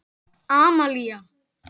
Amalía